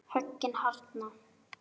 Höggin harðna.